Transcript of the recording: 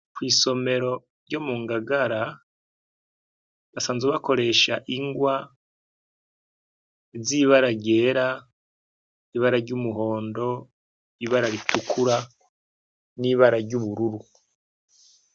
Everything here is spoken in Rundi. Kw'isomero ryo mu ngagara basanzw bakoresha ingwa zibaragera ibara ry'umuhondo, ibara ritukura n'ibara ry'ubururu.